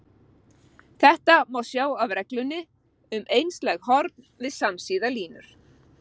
Þetta má sjá af reglunni um einslæg horn við samsíða línur.